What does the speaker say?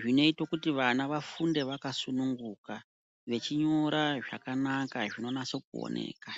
zvinoite kuti vana vafunde vaka sungu nuka vechinyora zvakanaka zvino naso oneka.